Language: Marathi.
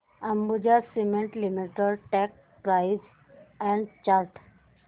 Ambuja cement limited stock price and chart